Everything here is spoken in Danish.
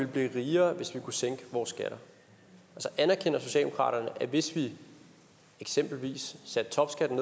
blive rigere hvis vi kunne sænke vores skatter anerkender socialdemokratiet at hvis vi eksempelvis satte topskatten